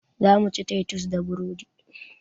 Zamu ci taitus da burodi